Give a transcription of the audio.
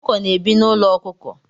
Ọkụkọ na-ebi n'ụlọ ọkụkọ